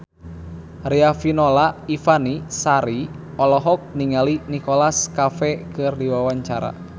Riafinola Ifani Sari olohok ningali Nicholas Cafe keur diwawancara